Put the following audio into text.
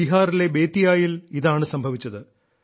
ബീഹാറിലെ ബേതിയായിൽ ഇതാണ് സംഭവിച്ചത്